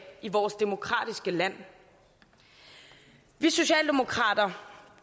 i vores demokratiske land vi socialdemokrater